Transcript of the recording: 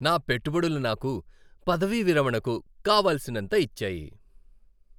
నా పెట్టుబడులు నాకు పదవీ విరమణకు కావలసినంత ఇచ్చాయి.